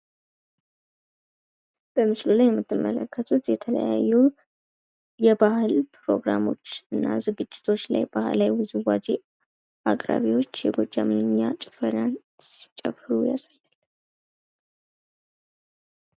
ይህ በምስሉ ላይ የምንመለከተው የተለያዩ የባህል ዝግጅቶች ላይ አቅራቢዎች የጎጃም ውዝዋዜን ሲጫወቱ ያሳያል።